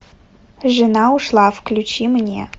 жена ушла включи мне